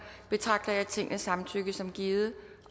betragter jeg tingets samtykke som givet